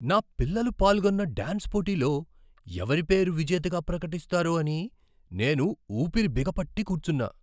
నా పిల్లలు పాల్గొన్న డాన్స్ పోటీలో ఎవరి పేరు విజేతగా ప్రకటిస్తారో అని నేను ఊపిరి బిగపట్టి కూర్చున్నా.